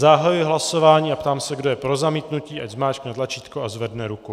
Zahajuji hlasování a ptám se, kdo je pro zamítnutí, ať zmáčkne tlačítko a zvedne ruku.